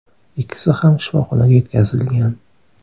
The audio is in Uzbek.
Ikkisi ham shifoxonaga yetkazilgan.